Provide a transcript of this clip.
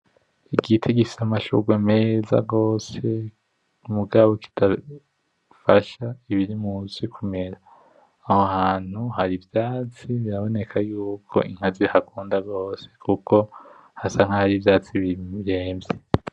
Igiti gifise amashurwe meza gose, mugabo kidafasha ibiri musi kumera, aho hantu hari ivyatsi biraboneka ko Inka zihakunda gose kuko hasa nkahari ivyatsi biremvye.